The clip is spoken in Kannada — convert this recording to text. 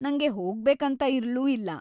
ನಂಗೆ ಹೋಗ್ಬೇಕಂತ ಇರ್ಲೂ ಇಲ್ಲ.